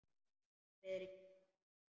Friðrik kinkaði kolli.